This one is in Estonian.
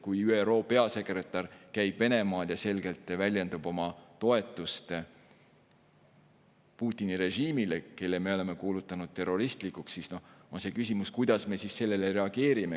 Kui ÜRO peasekretär käib Venemaal ja väljendab selgelt oma toetust Putini režiimile, mille me oleme kuulutanud terroristlikuks, siis tekib küsimus, kuidas me sellele reageerime.